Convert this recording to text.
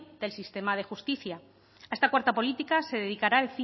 del sistema de justicia a esta cuarta política se dedicará